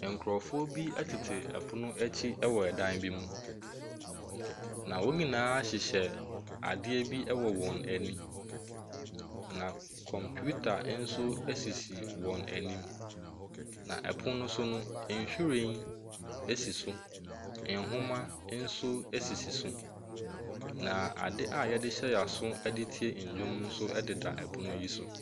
Nkrɔfoɔ bi tete pono akyi wɔ dan bi mu. Na wɔn nyinaa hyehyɛ adeɛ bi wɔ wɔn ani. Na kɔmputa nso sisi wɔn anim. Na ɛpono no so no, nhwiren si so. Nwoma nso esisi so. Na ade a yɛhyɛ yɛn aso de tie nnwom nso deda pono yi so.